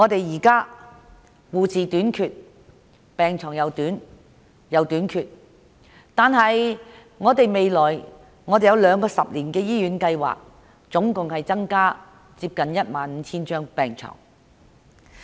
現在護士和病床亦短缺，但當局訂有兩個十年醫院發展計劃，共可增加接近 15,000 張病床。